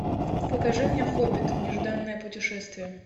покажи мне хоббит нежданное путешествие